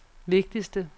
vigtigste